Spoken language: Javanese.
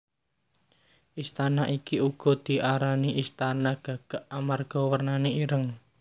Istana iki uga diarani istana Istana Gagak amarga wernane ireng